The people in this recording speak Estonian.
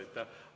Aitäh!